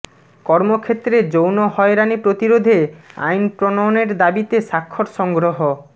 কর্মক্ষেত্রে যৌন হয়রানি প্রতিরোধে আইন প্রণয়নের দাবিতে স্বাক্ষর সংগ্রহ